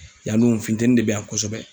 Yan nɔ, u funteni de bɛ yan kosɛbɛ!